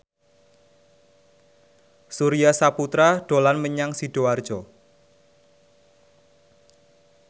Surya Saputra dolan menyang Sidoarjo